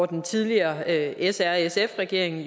den tidligere srsf regering